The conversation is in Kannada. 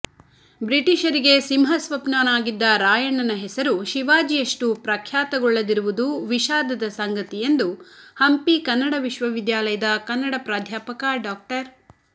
ಬ್ರಿಟಿಷರಿಗೆ ಸಿಂಹಸ್ವಪ್ನನಾಗಿದ್ದ ರಾಯಣ್ಣನ ಹೆಸರು ಶಿವಾಜಿಯಷ್ಟು ಪ್ರಖ್ಯಾತಗೊಳ್ಳದಿರುವದು ವಿಷಾದ ಸಂಗತಿ ಎಂದು ಹಂಪಿ ಕನ್ನಡ ವಿಶ್ವವಿದ್ಯಾಲಯದ ಕನ್ನಡ ಪ್ರಾಧ್ಯಾಪಕ ಡಾ